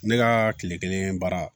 Ne ka kile kelen baara